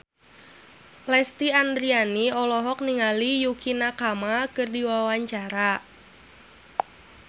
Lesti Andryani olohok ningali Yukie Nakama keur diwawancara